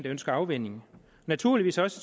ønsker afvænning og naturligvis også